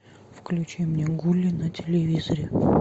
включи мне гули на телевизоре